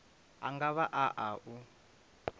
a nga vha a u